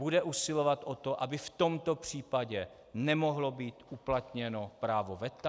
Bude usilovat o to, aby v tomto případě nemohlo být uplatněno právo veta?